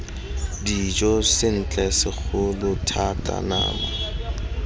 dijo sentle segolo thata nama